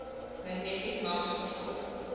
magnetic mouse controlled